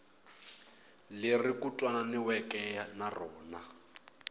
leri ku twananiweke na rona